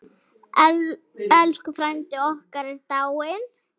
Elsku frændi okkar er dáinn.